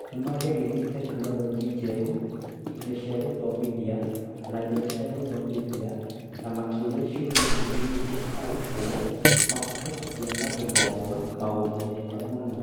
Nĩ maageririe tekinoronjĩ njerũ, indo cia gũthomithia, na njĩra cia gũthomithia, na makĩũria ciũria nyingĩ nĩguo arutwo mahote kũgĩa na gũthoma maũndũ mega mũno.